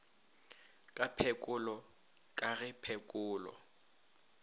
ka phekolo ka ge phekolo